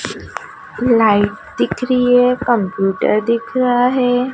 Light दिख रही है कंप्यूटर दिख रहा है।